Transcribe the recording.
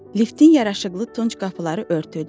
Liftin yaraşıqlı tunç qapıları örtüldü.